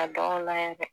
Ka baganw layɛ